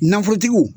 Nafolotigiw